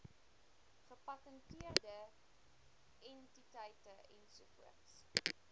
gepatenteerde entiteite ens